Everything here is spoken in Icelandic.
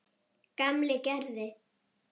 Gamli gerði.